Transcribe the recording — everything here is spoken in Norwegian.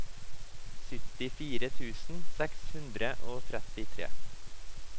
syttifire tusen seks hundre og trettitre